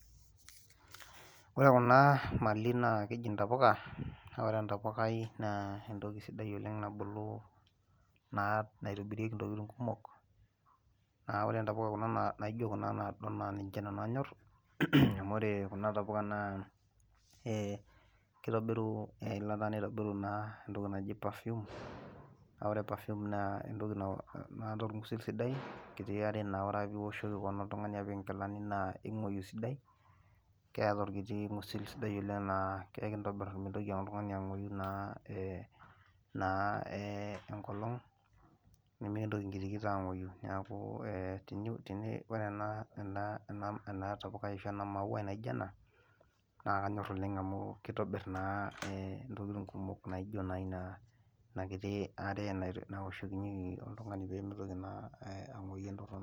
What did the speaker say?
ore kna mali naa keji ntapuka. naa ore entappukai naa entoki naa nabulu naitobirirki ntokitin kumok. ore ntapuka naijo kuna naa ninche nanu anyor. amu ore kuna tapuka naa ee kitobiru eilata nitobiru naa entoki naji perfume naa ore perfume naa entoki naata orgusil sidai, enkitia are naa ore pee ioshoki oltungani keon apik nkilani naa ing'uoyu esidai. keeta orkiti ngusil naa laa ekintobir mintoki ake oltungani ang'uoyu naa ee enkolongnimikntoki nkitikit ang'uoyu. neeku teni, ore ena tapukai ashu ena mauai naijo ena, naa kanyor oleng amu kitobir naa e ntokitin kumok naijo naa e inakiti, are naoshokinyeki oltungani pee mitoki naa ang'uoyu entorono.